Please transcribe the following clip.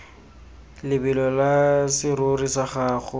lebelo la serori sa gago